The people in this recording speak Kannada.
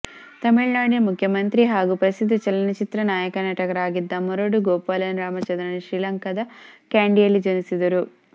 ತಮಿಳು ನಾಡಿನ ಮುಖ್ಯಮಂತ್ರಿ ಹಾಗೂ ಪ್ರಸಿದ್ಧ ಚಲನಚಿತ್ರ ನಾಯಕನಟರಾಗಿದ್ದ ಮರುಡು ಗೋಪಾಲನ್ ರಾಮಚಂದ್ರನ್ ಶೀಲಂಕಾದ ಕ್ಯಾಂಡಿಯಲ್ಲಿ ಜನಿಸಿದರು